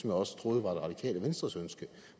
jeg også troede var det radikale venstres ønske